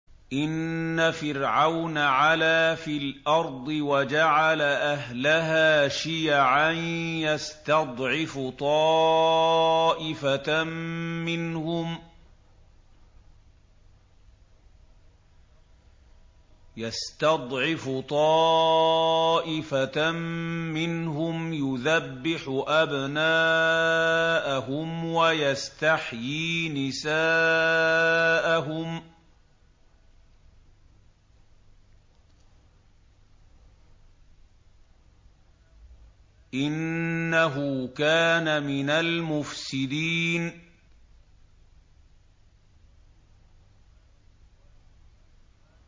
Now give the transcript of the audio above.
إِنَّ فِرْعَوْنَ عَلَا فِي الْأَرْضِ وَجَعَلَ أَهْلَهَا شِيَعًا يَسْتَضْعِفُ طَائِفَةً مِّنْهُمْ يُذَبِّحُ أَبْنَاءَهُمْ وَيَسْتَحْيِي نِسَاءَهُمْ ۚ إِنَّهُ كَانَ مِنَ الْمُفْسِدِينَ